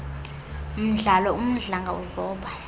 mdlalo umdlanga uzoba